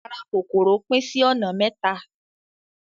Ara kòkòrò pín sí ọ̀nà mẹ́ta.